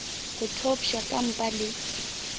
o thopša ka mpa le